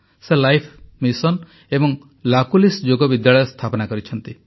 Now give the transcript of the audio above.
ସେ life mission ଏବଂ ଲାକୁଲିଶ୍ ଯୋଗ ବିଶ୍ୱବିଦ୍ୟାଳୟର ସ୍ଥାପନା କରିଛନ୍ତି